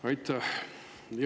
Aitäh!